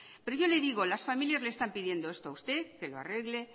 pero yo le digo las familias le están pidiendo esto a usted que lo arregle